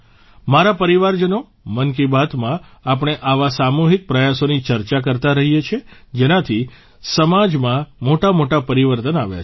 મારા પરિવારજનો મન કી બાતમાં આપણે આવા સામૂહિક પ્રયાસોની ચર્ચા કરતા રહ્યા છીએ જેનાથી સમાજમાં મોટામોટા પરિવર્તન આવ્યા છે